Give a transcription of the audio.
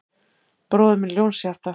Bróðir minn Ljónshjarta